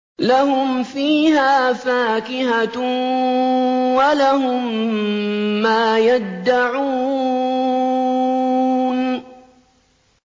لَهُمْ فِيهَا فَاكِهَةٌ وَلَهُم مَّا يَدَّعُونَ